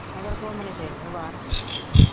ਮਗਰ ਘੁੰਮਦੇ ਫਿਰਦੇ ਬਾਲ।